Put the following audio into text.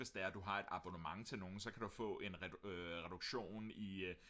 hvis det er du har et abonnement til nogen så kan du få en reduktion i